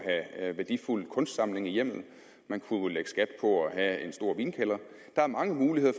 at have værdifulde kunstsamlinger i hjemmet man kunne lægge skat på at have en stor vinkælder der er mange muligheder